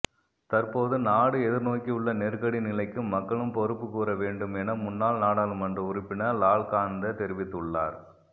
தற்போது நாடு எதிர்நோக்கியுள்ள நெருக்கடி நிலைக்கு மக்களும் பொறுப்பு கூற வேண்டும் என முன்னாள் நாடாளுமன்ற உறுப்பினர் லால்காந்த தெரிவித்துள்ளார்